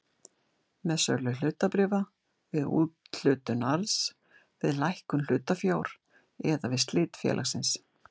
með sölu hlutabréfa, við úthlutun arðs, við lækkun hlutafjár eða við slit félagsins.